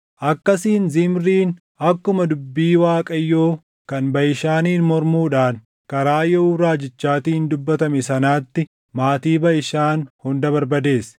Akkasiin Zimriin akkuma dubbii Waaqayyoo kan Baʼishaaniin mormuudhaan karaa Yehuu raajichaatiin dubbatame sanaatti maatii Baʼishaan hunda barbadeesse;